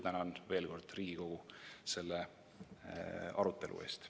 Tänan veel kord Riigikogu selle arutelu eest.